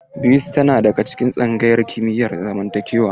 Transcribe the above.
Bisi tana daga tsangayar kimiyar zamantakewa.